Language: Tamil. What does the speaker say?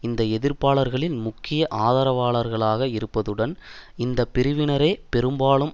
இந்த எதிர்ப்பாளர்களின் முக்கிய ஆதரவாளர்களாக இருப்பதுடன் இந்த பிரிவினரே பெரும்பாலும்